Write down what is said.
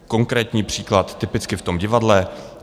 Konkrétní příklad typicky v tom divadle.